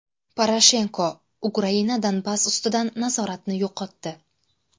Poroshenko: Ukraina Donbass ustidan nazoratni yo‘qotdi.